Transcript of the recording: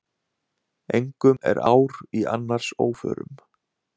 Engum er ár í annars óförum.